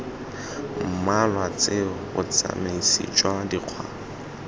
mmalwa tseo botsamisi jwa dikgwa